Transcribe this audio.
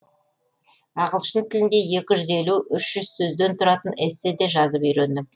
ағылшын тілінде екі жүз елу үш жүз сөзден тұратын эссе де жазып үйрендім